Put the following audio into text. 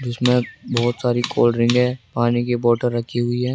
इसमें बहोत सारी कोल्ड ड्रिंक है पानी की बोतल रखी हुई है।